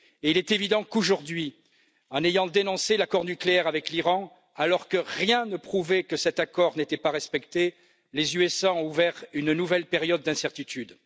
Il est évident qu'aujourd'hui, en ayant dénoncé l'accord nucléaire avec l'Iran, alors que rien ne prouvait que cet accord n'était pas respecté, les États Unis ont ouvert une nouvelle période d'incertitude.